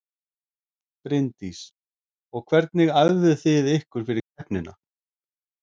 Bryndís: Og hvernig æfðu þið ykkur fyrir keppnina?